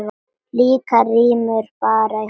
Líklega rymur bara í honum.